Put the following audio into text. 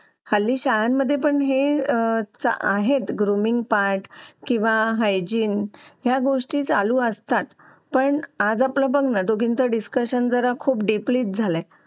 Late होतं सर्दी खोकला हा एक वाढलं आहे. एका मुलाला क्लास पूर्ण क्लास त्याच्यामध्ये वाहून निघत निघत असतो असं म्हणायला हरकत नाही. हो डेंग्यू, मलेरिया यासारखे आजार पण ना म्हणजे लसीकरण आहे. पूर्ण केले तर मला नाही वाटत आहे रोप असू शकतेपुडी लसीकरणाबाबत थोडं पालकांनी लक्ष दिलं पाहिजे की आपला मुलगा या वयात आलेला आहे. आता त्याच्या कोणत्या लसी राहिलेले आहेत का?